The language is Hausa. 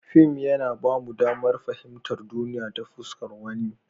Fim yana ba mu damar fahimtar duniya ta fuskar wani.